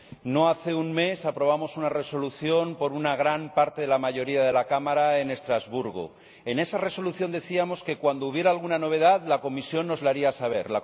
No hace un mes, aprobamos una Resolución con el apoyo de una gran parte de la mayoría de la Cámara en Estrasburgo. En esa Resolución decíamos que cuando hubiera alguna novedad, la Comisión nos lo haría saber.